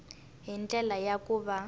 hi ndlela ya ku va